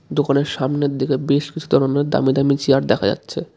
দোকানের সামনের দিকে বেশ কিছু ধরনের দামি দামি চেয়ার দেখা যাচ্ছে।